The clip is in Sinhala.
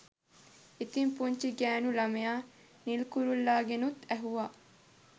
ඉතිං පුංචි ගෑණු ළමයා නිල් කුරුල්ලාගෙනුත් ඇහුවා